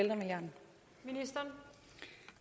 er